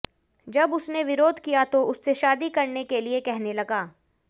जब उसने विरोध किया तो उससे शादी करने के लिए कहने लगा